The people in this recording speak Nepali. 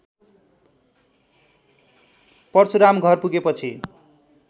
परशुराम घर पुगेपछि